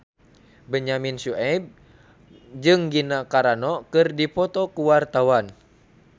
Benyamin Sueb jeung Gina Carano keur dipoto ku wartawan